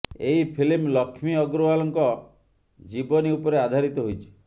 ଏହି ଫିଲ୍ମ ଲକ୍ଷ୍ମୀ ଅଗ୍ରୱାଲ୍ଙ୍କ ଜିବନୀ ଉପରେ ଆଧାରିତ ହୋଇଛି